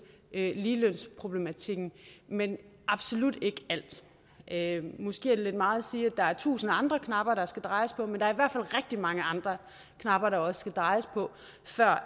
ligelønsproblematikken men absolut ikke alt måske er det lidt meget at sige at der er tusind andre knapper der skal drejes på men der er i mange andre knapper der også skal drejes på før